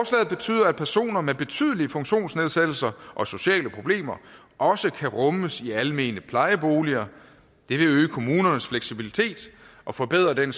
betyder at personer med betydelige funktionsnedsættelser og sociale problemer også kan rummes i almene plejeboliger det vil øge kommunernes fleksibilitet og forbedre den